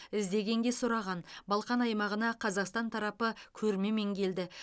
іздегенге сұраған балқан аймағына қазақстан тарапы көрмемен келді